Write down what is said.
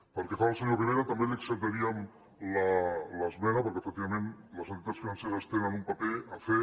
pel que fa al senyor rivera també li acceptaríem l’esmena perquè efectivament les entitats financeres tenen un paper a fer